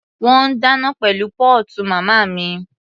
Wọ́n ń dáná pẹ̀lú póòtù màmá mi.